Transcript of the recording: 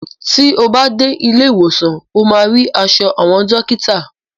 Ti o bá dé ilé ìwòsàn ó máa rí aṣọ àwọn dọ́kítà.